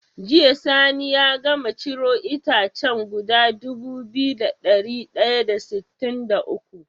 Jiya sani ya gama ciro itacen guda Dubu biyu da dari daya da sitin da uku?